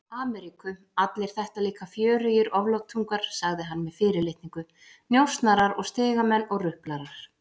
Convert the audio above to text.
Ameríku, allir þetta líka fjörugir oflátungar, sagði hann með fyrirlitningu, njósnarar og stigamenn og ruplarar.